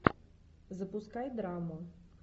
запускай драму